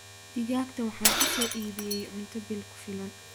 digaagta waxaan uso iibyey cunto bil kufilan